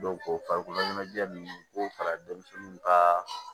o farikolo ɲɛnajɛ nunnu b'o fara denmisɛnninw kaa